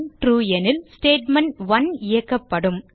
true எனில் statement one இயக்கப்படும்